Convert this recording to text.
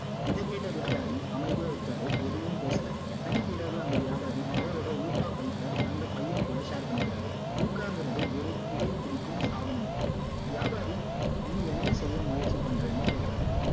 இதை கேட்ட வியாபாரி அமைதியா இருக்காரு எதுவும் பேசல அன்னைக்கு இரவு அந்த வியாபாரி அவரோட ஊகா பைப்ப அன்னைக்க்கு மையன் கூட share பண்ணிக்கிறாரு ஊக்கா எங்கிறது ஒரு புகை பிடிக்கும் சாதனம் வியாபாரி நீ என்ன் செய்ய முயற்சி பண்றேன்னு கேக்குறாரு